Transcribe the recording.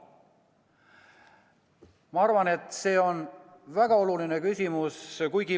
Ma arvan, et see on väga oluline küsimus.